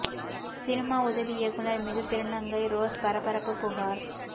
cinema உதவி இயக்குனர் மீது திருநங்கை ரோஸ் பரபரப்பு புகார்